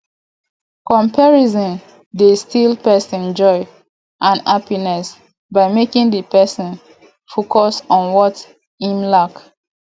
comparison dey steal pesin joy and happiness by making di pesin focus on what im lack